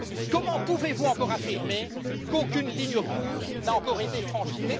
Comment pouvez vous encore affirmer qu'aucune ligne rouge n'a encore été franchie?